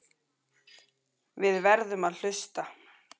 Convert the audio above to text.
Við verðum að hlusta.